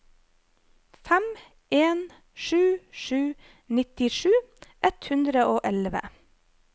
fem en sju sju nittisju ett hundre og elleve